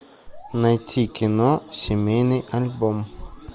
найти кино семейный альбом